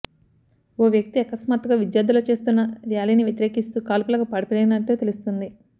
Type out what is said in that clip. ఓ వ్యక్తి అకస్మాత్తుగా విద్యార్థుల చేస్తున్న ర్యాలీని వ్యతిరేకిస్తూ కాల్పులకు పాల్పడినట్లు తెలుస్తోంది